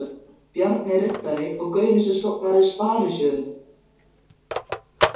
Bjarni riddari og gaurinn sem stofnaði Sparisjóðinn.